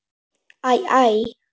Æ, æ.